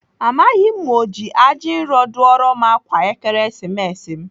Amaghị m ma ọ ji ajinro dụọra m ákwà Ekeresimesi m.